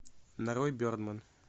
нарой бердмэн